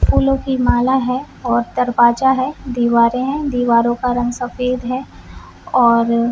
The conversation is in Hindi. फूलों की माला है और दरवाजा दीवारे है दीवारों का रंग सफेद है और--